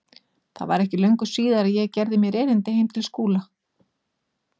Það var ekki löngu síðar að ég gerði mér erindi heim til Skúla.